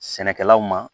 Sɛnɛkɛlaw ma